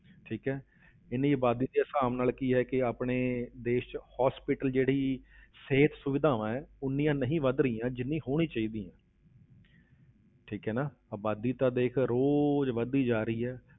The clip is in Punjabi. ਠੀਕ ਹੈ ਇੰਨੀ ਆਬਾਦੀ ਦੇ ਹਿਸਾਬ ਨਾਲ ਕੀ ਹੈ ਕਿ ਆਪਣੇ ਦੇਸ ਵਿੱਚ hospital ਜਿਹੜੀ ਸਿਹਤ ਸੁਵਿਧਾਵਾਂ ਨੇ ਉਨੀਆਂ ਨਹੀਂ ਵੱਧ ਰਹੀਆਂ, ਜਿੰਨੀ ਹੋਣੀ ਚਾਹੀਦੀ ਆ ਠੀਕ ਹੈ ਨਾ, ਆਬਾਦੀ ਤਾਂ ਦੇਖ ਰੋਜ਼ ਵੱਧਦੀ ਜਾ ਰਹੀ ਆ